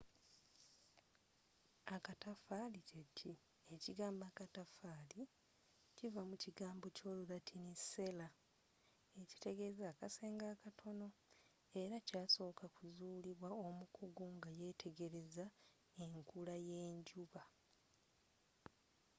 akataffali kyeki? ekigambo akatafaali kiva mu kigambo kyolulatini cella” ekitegeeza akasenge akatono” era kyasoka kuzulibwa omukugu nga yetegereza enkula yenjuba